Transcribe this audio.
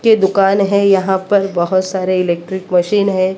के दुकान है यहां पर बहोत सारे इलेक्ट्रिक मशीन हैं।